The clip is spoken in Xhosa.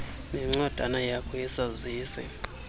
nencwadana yakho yesazisi